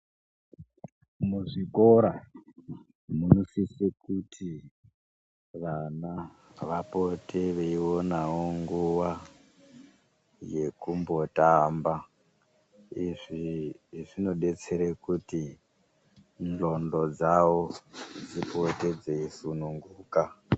Muzvikora munosise kuti vana vapote veionawo nguwa yekumbotamba izvi zvinodetsere kuti ndxondo dzavo dzipote dzeisununguka.